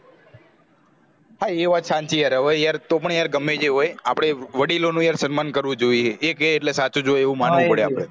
હા એ વાત સાચી હોય તો પણ યાર ગમે તે હોય આપણે વડીલોનું યાર સમ્માન કરવું જોઈએ એકે એટલે સાચું જો એવું માનવુ પડે